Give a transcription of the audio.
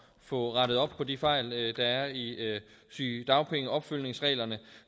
få rettet op på de fejl der er i sygedagpengeopfølgningsreglerne